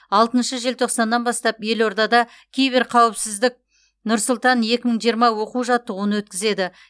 алтыншы желтоқсаннан бастап елордада кибер қауіпсіздік нұр сұлтан екі мың жиырма оқу жаттығуын өткізеді